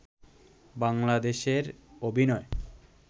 বাংলাদেশের অভিনয়